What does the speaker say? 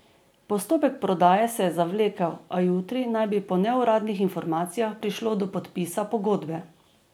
Postopek prodaje se je zavlekel, a jutri naj bi po neuradnih informacijah prišlo do podpisa pogodbe.